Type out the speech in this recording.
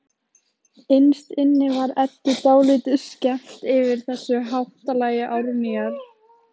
Innst inni var Eddu dálítið skemmt yfir þessu háttalagi Árnýjar.